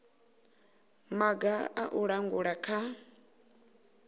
maga a u langula kha